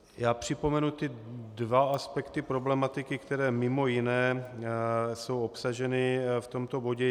Já připomenu ty dva aspekty problematiky, které mimo jiné jsou obsaženy v tomto bodě.